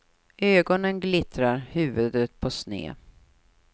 Ögonen glittrar, huvudet på sned.